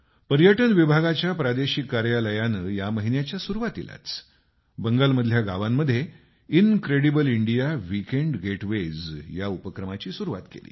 पर्यटन विभागाच्या प्रादेशिक कार्यालयाने या महिन्याच्या सुरुवातीलाच बंगालमधल्या गावांमध्ये इनक्रेडीबल इंडिया विकेंड गेटवेज या उपक्रमाची सुरुवात केली